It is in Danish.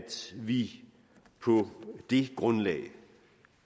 vi på det grundlag